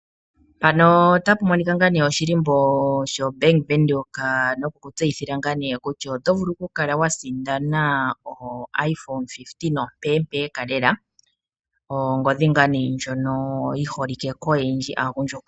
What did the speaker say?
Shika oshihako shoBank Windhoek nokutseyitha kutya oto vulu okukala wa sindana ongodhi IPhone 15 ompeempeka. Ongodhi ndjoka yi holike koyendji unene kaagundjuka.